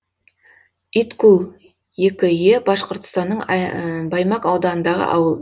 иткул екі е башқұртстанның баймак ауданындағы ауыл